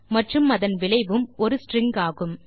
மற்றும் அதன் விளைவும் ஒரு ஸ்ட்ரிங் ஆகும்